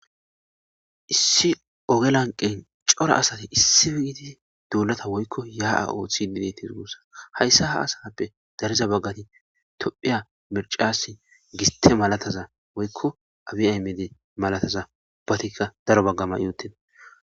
Issi oge lanqen cora asati issi iiidi duulata woykko ya'a ooththidide tirgossa hayssa ha asappe dariza baggati tophiya mircassi giste malataza woykko abiaymede malataza ubbatikka daro baggama yootena.